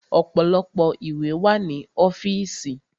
Ọ̀pọ̀lọpọ̀ ìwé wà ní ọ́fìsì.